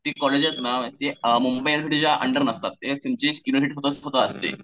ती कॉलेज आहेत ना ती अंडर नसतात. एक त्यांची स्वतःची स्वतः असते.